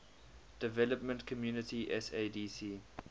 development community sadc